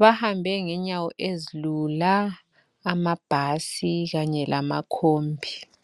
bahambe ngenyawo ezilula amabhasi kanye lamakhombi.